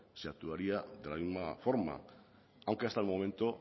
se actuaría de la misma forma aunque hasta el momento